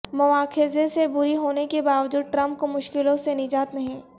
مواخذے سے بری ہونےکے باوجود ٹرمپ کو مشکلوں سے نجات نہیں